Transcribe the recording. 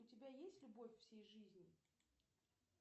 у тебя есть любовь всей жизни